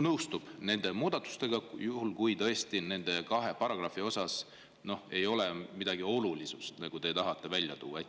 nõustub nende muudatustega, juhul kui tõesti nende kahe paragrahvi puhul ei ole midagi olulist, mida te tahate välja tuua?